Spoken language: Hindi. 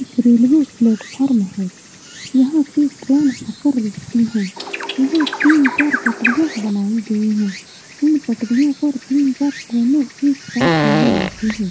एक रेलवे प्लेटफार्म है यहाँ पे ट्रैन आकर रूकती हैं यहाँ तीन-चार पटरियां बनाई गई हैं इन पटरियों पे तीन-चार ट्रेनें एक साथ नहीं आती है।